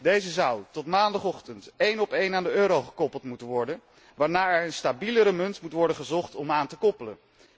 Deze zou tot maandagochtend één op één aan de euro gekoppeld moeten worden, waarna er naar een stabielere munt moet worden gezocht om aan te koppelen.